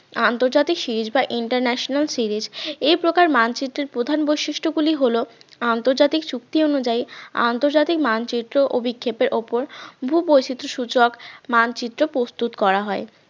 আন্তর্জাতিক series বা international series এই প্রকার মানচিত্রের প্রধান বৈশিষ্ট্য গুলি হল আন্তর্জাতিক চুক্তি অনুযায়ী আন্তর্জাতিক মানচিত্র অভিক্ষেপের ওপর ভূবৈচিত্র সূচক মানচিত্র প্রস্তুত করা হয়